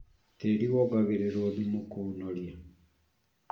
Tĩri wongagĩrĩrwo thumu kũũnoria